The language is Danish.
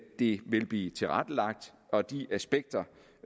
det vil blive tilrettelagt og de aspekter